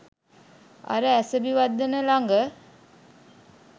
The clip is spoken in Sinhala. අර අසැබි වදන ලඟ.